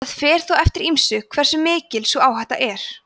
það fer þó eftir ýmsu hversu mikil sú áhætta er